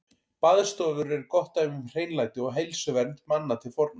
Baðstofur eru gott dæmi um hreinlæti og heilsuvernd manna til forna.